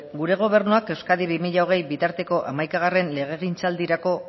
gure gobernuak euskadi bi mila hogei bitarteko hamaika legegintzaldirako